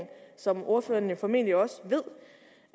som ordføreren formentlig også ved